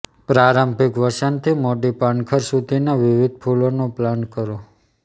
પ્રારંભિક વસંતથી મોડી પાનખર સુધીના વિવિધ ફૂલોનું પ્લાન્ટ કરો